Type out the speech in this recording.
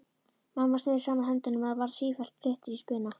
Mamma neri saman höndunum og varð sífellt styttri í spuna.